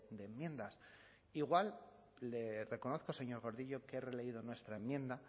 de enmiendas igual le reconozco señor gordillo que he releído nuestra enmienda